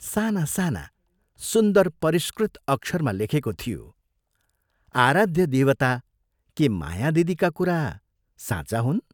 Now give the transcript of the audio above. साना, साना, सुन्दर परिष्कृत अक्षरमा लेखेको थियो " आराध्य देवता के माया दिदीका कुरा साँचा हुन्?